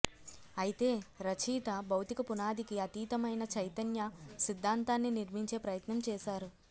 అయితే రచయిత భౌతిక పునాదికి అతీతమైన చైతన్య సిద్ధాంతాన్ని నిర్మించే ప్రయత్నం చేశారు